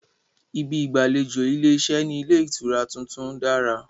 Ibi ìgbàlejò ilé-iṣẹ́ ní ilé ìtura tuntun dára